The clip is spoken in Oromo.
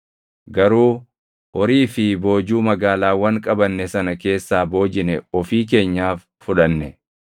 Garuu horii fi boojuu magaalaawwan qabanne sana keessaa boojine ofii keenyaaf fudhanne.